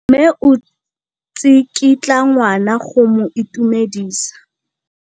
Mme o tsikitla ngwana go mo itumedisa.